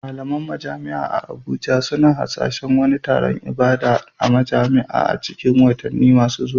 Malaman majami'a a Abuja suna hasashen wani taron ibada a majam'a a cikin watanni masu zuwa.